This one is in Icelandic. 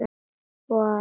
Vertu kyrr, segir hún.